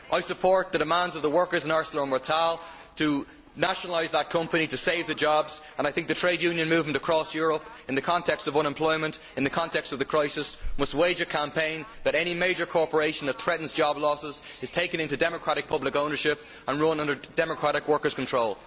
I support the demands of the workers in ArcelorMittal to nationalise that company to save the jobs, and I think the trade union movement across Europe must, in the context of unemployment and the context of the crisis, wage a campaign to have any major corporation threatening job losses taken into democratic public ownership and run under democratic workers' control.